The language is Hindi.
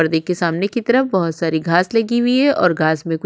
परदे के सामने की तरफ बहुत सारी घाँस लगी हुई हैं और घाँस मे कुछ--